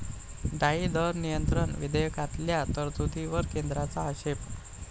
डाळी दर नियंत्रण' विधेयकातल्या तरतुदींवर केंद्राचा आक्षेप